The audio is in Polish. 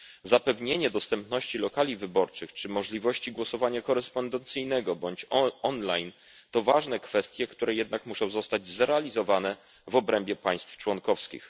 Zapewnienie dostępności lokali wyborczych czy możliwości głosowania korespondencyjnego bądź online to ważne kwestie, które jednak muszą zostać zrealizowane w obrębie państw członkowskich.